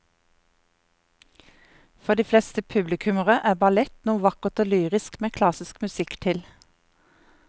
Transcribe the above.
For de fleste publikummere er ballett noe vakkert og lyrisk med klassisk musikk til.